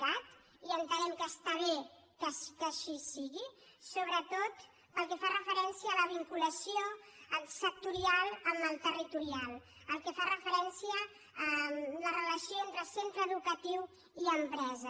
cat i entenem que està bé que així sigui sobretot pel que fa referència a la vinculació sectorial amb la territorial pel que fa referència a la relació entre centre educatiu i empresa